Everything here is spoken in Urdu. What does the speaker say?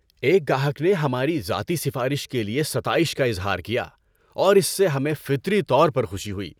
ایک گاہک نے ہماری ذاتی سفارش کے لیے ستائش کا اظہار کیا اور اس سے ہمیں فطری طور پر خوشی ہوئی۔